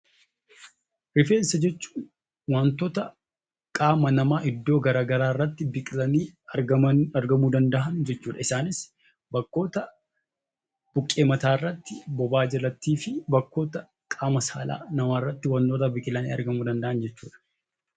Rifeensa jechuun wantoota qaama namaa iddoo garaagaraa irratti biqilanii argamuu danda'an jechuu dha. Isaanis, bakkoota buqqee mataa irratti, bobaa jalattii fi bakkoota qaama saalaa namaa irratti wantoota biqilanii argamuu danda'an jechuu dha.